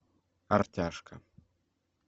артяшка